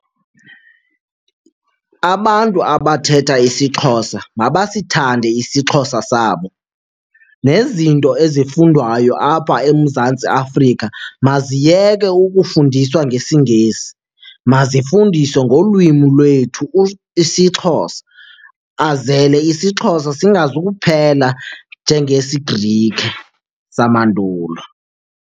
Abantu abathetha isiXhosa mabasithande isiXhosa sabo. Nezinto ezifundwayo apha eMzantsi Afrika maziyeke ukufundiswa ngesiNgesi, mazifundiswe ngolwimi lwethu isiXhosa azele isiXhosa singazukuphela njengesiGrike samandulo.